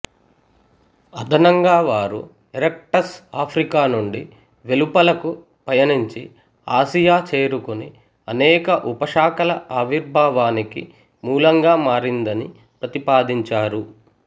అదనంగా వారు erectus Africa నుండి వెలుపలకు పయనించి ఆసియా చేరుకుని అనేక ఉపశాఖల ఆవిర్భావానికి మూలంగా మారిందని ప్రతిపాదించారు